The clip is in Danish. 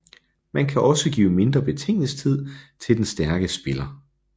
Man kan også give mindre betænkningstid til den stærkere spiller